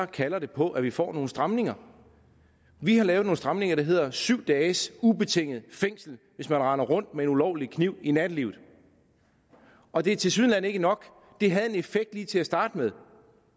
kalder det på at vi får nogle stramninger vi har lavet nogle stramninger der hedder syv dages ubetinget fængsel hvis man render rundt med en ulovlig kniv i nattelivet og det er tilsyneladende ikke nok det havde en effekt lige til at starte med